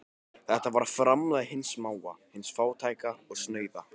Þetta var framlag hins smáa, hins fátæka og snauða.